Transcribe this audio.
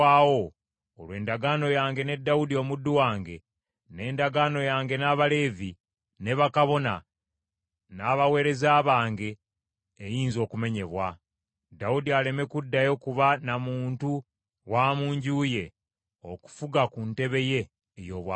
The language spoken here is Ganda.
olwo endagaano yange ne Dawudi omuddu wange, n’endagaano yange n’Abaleevi, ne bakabona, n’abaweereza bange eyinza okumenyebwa, Dawudi aleme kuddayo kuba na muntu wa mu nju ye okufuga ku ntebe ye ey’obwakabaka.